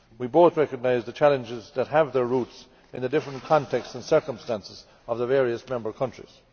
We both recognise the challenges that have their roots in the different context and circumstances of the various member countries.